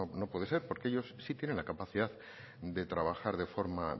no puede ser porque ellos sí tienen la capacidad de trabajar de forma